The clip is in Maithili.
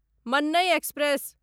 मन्नै एक्सप्रेस